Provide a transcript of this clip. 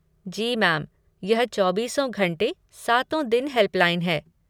जी ma'am, यह चौबीसों घंटे सातो दिन हेल्पलाइन है।